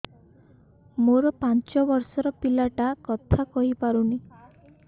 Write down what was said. ମୋର ପାଞ୍ଚ ଵର୍ଷ ର ପିଲା ଟା କଥା କହି ପାରୁନି